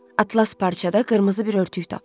Atlas parçada qırmızı bir örtük tapdı.